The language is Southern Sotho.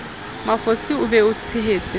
mafosi o be o tshehetse